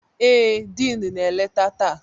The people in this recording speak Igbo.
Ee, Diin na-eleta taa.